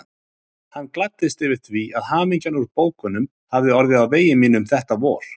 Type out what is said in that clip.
Hann gladdist yfir því að hamingjan úr bókunum hafði orðið á vegi mínum þetta vor.